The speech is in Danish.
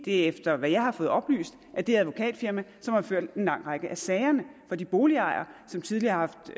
efter hvad jeg har fået oplyst har det advokatfirma ført en lang række af sagerne for de boligejere som tidligere har